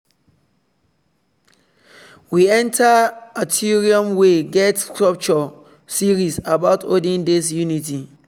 we enter atrium wey get sculpture series about olden days unity.